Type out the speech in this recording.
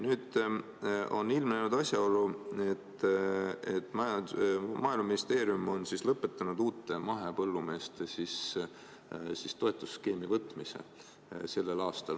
Nüüd on ilmnenud asjaolu, et Maaeluministeerium on lõpetanud uute mahepõllumeeste võtmise toetusskeemi sellel aastal.